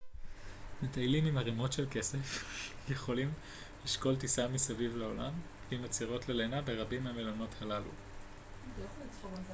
מטיילים עם ערימות של כסף יכולים לשקול טיסה סביב העולם עם עצירות ללינה ברבים מהמלונות הללו